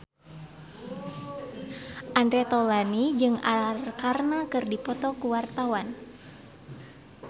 Andre Taulany jeung Arkarna keur dipoto ku wartawan